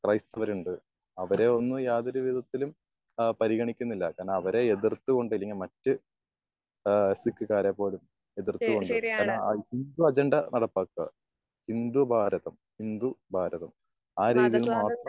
അവര് ഒന്നും യാതൊരു വിധത്തിലും പരിഗണിക്കുന്നില്ല. കാരണം അവരെ എതിർത്തു കൊണ്ട് ഇല്ലെങ്കി മറ്റ് ആഹ് സിക്ക്കാരെ പോലും എതിർത്തു കൊണ്ട് കാരണം അജണ്ട നടപ്പിലാക്കാ. ഇന്ത്യ ഭാരതം. ഹിന്ദു ഭാരതം ആ രീതിയിൽ മാത്രം.